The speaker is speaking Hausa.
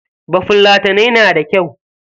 Bafulatanai na da kyau.